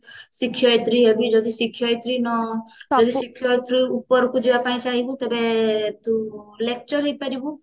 ଶିକ୍ଷୟତ୍ରୀ ହେବି ଯଦି ଶିକ୍ଷୟତ୍ରୀ ନ ପାଇଲି ଶିକ୍ଷୟତ୍ରୀରୁ ଉପରକୁ ଯିବା ପାଇଁ ଚାହିବୁ ତେବେ ତୁ lecture ହେଇ ପାରିବୁ